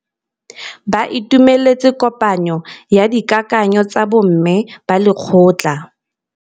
Ba itumeletse kôpanyo ya dikakanyô tsa bo mme ba lekgotla.